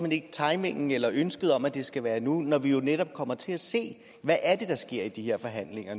ikke timingen eller ønsket om at det skal være nu når vi jo netop kommer til at se hvad der sker i de forhandlinger